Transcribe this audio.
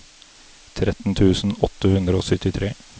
tretten tusen åtte hundre og syttitre